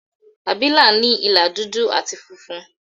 Àbìlà ní ìlà dúdú àti funfun.